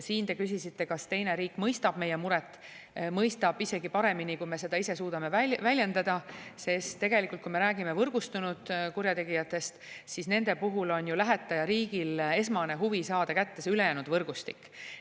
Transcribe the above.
Te küsisite, kas teine riik mõistab meie muret – mõistab isegi paremini, kui me ise suudame väljendada, sest tegelikult, kui me räägime võrgustunud kurjategijatest, siis nende puhul on lähetajariigil esmane huvi saada kätte see ülejäänud võrgustik.